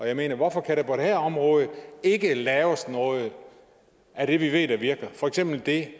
jeg mener hvorfor kan der på det her område ikke laves noget af det vi ved der virker for eksempel det